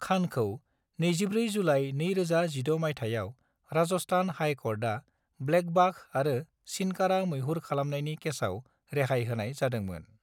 खानखौ 24 जुलाइ 2016 मायथाइयाव Rajasthan high court blackbuck आरो चिनकारा मैहुर खालामनायनि केसाव रेहाय होनाय जादोंमोन।